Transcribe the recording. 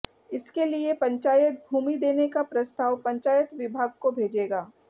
इसके लिए पंचायत भूमि देने का प्रस्ताव पंचायत विभाग को भेजेगा